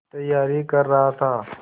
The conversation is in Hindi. तैयारी कर रहा था